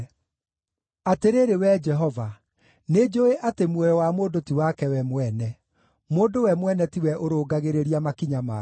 Atĩrĩrĩ Wee Jehova, nĩnjũũĩ atĩ muoyo wa mũndũ ti wake we mwene; mũndũ we mwene ti we ũrũngagĩrĩria makinya make.